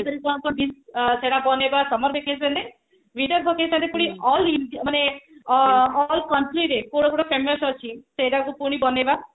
ସେଟା ବନେଇବା summer vacation ରେ all country ରେ କୋଉଟା କୋଉଟା famous ଅଛି ସେଟାକୁ ପୁଣି ବନେଇବା